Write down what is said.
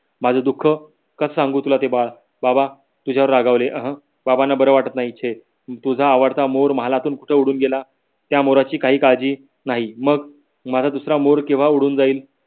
माझ दुख कस सांगू तुला ते बाळ बाबा तुझ्यावर रागावले अह बाबाना बर वाटत नाही छे तुझ्या आवडता mood महालातून कुठ उडून गेला. त्या मोराची काही काळजी नाही मग माझा दूसरा mood केव्हा उडून जाईल.